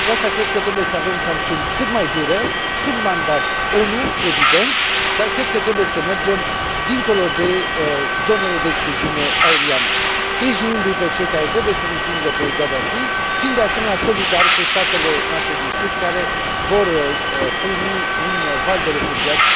De aceea, cred că trebuie să avem sancțiuni cât mai dure, sub mandat ONU, evident, dar cred că trebuie să mergem dincolo de zonele de excluziune aeriană, sprijinindu i pe cei care trebuie să îl învingă pe Gaddafi, fiind, de asemenea, solidari cu statele noastre din sud care vor primi un val de refugiați